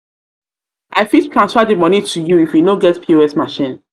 i fit transfer di moni to you if you no get pos machine.